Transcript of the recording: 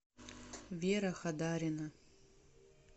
вера хадарина